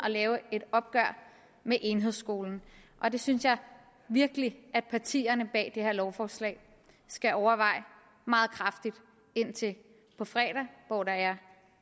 have et opgør med enhedsskolen det synes jeg virkelig at partierne bag de her lovforslag skal overveje meget kraftigt indtil på fredag hvor der er